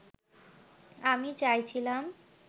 আমি চাইছিলাম